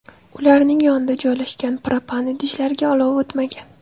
Ularning yonida joylashgan propan idishlariga olov o‘tmagan.